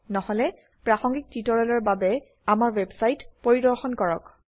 নহলে প্ৰাসঙ্গিক টিউটোৰিয়েলৰ বাবে আমাৰ ওয়েবসাইট পৰিদৰ্শন কৰক